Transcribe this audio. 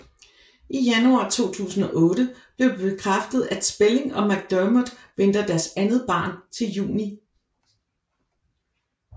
I januar 2008 blev det bekræftet at Spelling og McDermott venter deres andet barn til juni